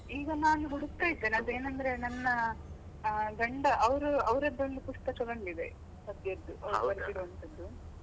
ಈಗ ನಾನು ಹುಡುಕ್ತಾ ಇದ್ದೇನೆ ಅದು ಏನಂದ್ರೆ ನನ್ನ ಆ ಗಂಡ, ಅವರು ಅವರದ್ದೊಂದು ಪುಸ್ತಕ ಬಂದಿದೆ ಪದ್ಯದ್ದು ಬರೆದಿರುವಂತದ್ದು.